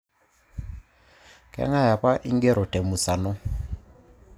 Kang'ae apa ing'ero temusano?